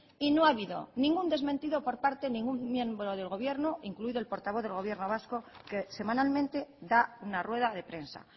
y no ha habido ningún desmentido por parte de ningún miembro del gobierno incluido el portavoz del gobierno vasco que semanalmente da una rueda de prensa